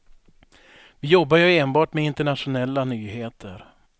Vi jobbar ju enbart med internationella nyheter.